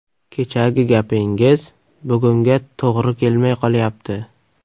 Kechagi gapingiz bugunga to‘g‘ri kelmay qolyapti.